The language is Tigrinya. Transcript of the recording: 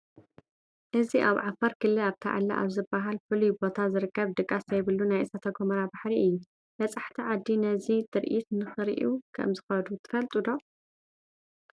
እዚ ኣብ ዓፋር ክልል ኣርታዕለ ኣብ ዝበሃል ፍሉይ ቦታ ዝርከብ ድቃስ ዘይብሉ ናይ እሳተ ጐመራ ባሕሪ እዩ፡፡ በፃሕቲ ዓዲ ነዚ ትርኢት ንክሪኡ ከምዝኸዱ ትፈልጡ ዶ?